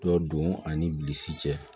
Dɔ don ani bilisi cɛ